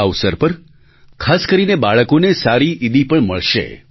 આ અવસર પર ખાસ કરીને બાળકોને સારી ઈદી પણ મળશે